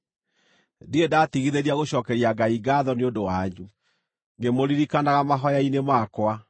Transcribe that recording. ndirĩ ndatigithĩria gũcookeria Ngai ngaatho nĩ ũndũ wanyu, ngĩmũririkanaga mahooya-inĩ makwa.